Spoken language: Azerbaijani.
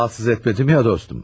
Rahatsız etmədim ya dostum.